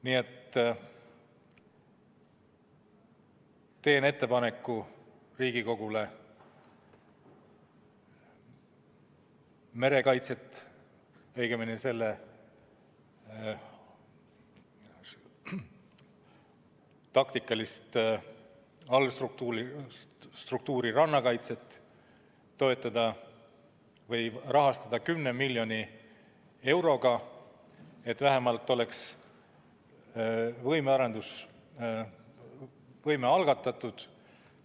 Nii et teen ettepaneku Riigikogule merekaitset, õigemini selle taktikalist allstruktuuri rannakaitset toetada või rahastada 10 miljoni euroga, et arendusvõime oleks vähemalt algatatud.